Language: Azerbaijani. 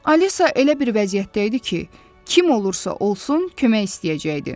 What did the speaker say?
Alisa elə bir vəziyyətdə idi ki, kim olursa olsun, kömək istəyəcəkdi.